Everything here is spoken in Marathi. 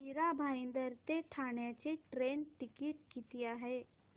मीरा भाईंदर ते ठाणे चे ट्रेन टिकिट किती आहे